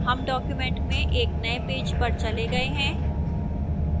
हम document में एक नए पेज पर चले गए हैं